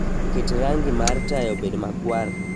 Ket rangi mar taya obed makwar